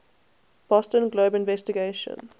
boston globe investigation